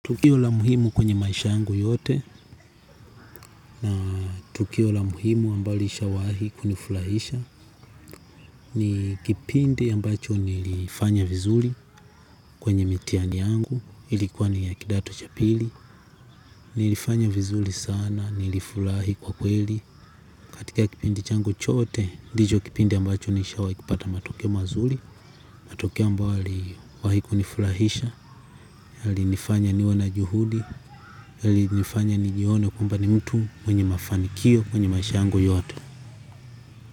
Tukio la muhimu kwenye maisha yangu yote na tukio la muhimu ambalo lisha wahi kunifurahisha ni kipindi ambacho nilifanya vizuri kwenye mitihani yangu ilikuwa ni ya kidato cha pili nilifanya vizuri sana nilifurahi kwa kweli katika kipindi changu chote ndicho kipindi ambacho nishawahi kupata matokeo mazuri matokeo ambayo yaliwahi kunifurahisha. Yali nifanya niwe na juhudi. Yali nifanya nijione kumbe ni mtu mwenye mafanikio kwenye maisha yangu yote.